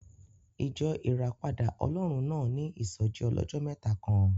Ìjọ Ìràpadà Ọlọ́run náà ní ìsọ́jí ọlọ́jọ́ mẹ́ta kan